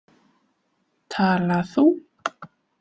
Tala þú.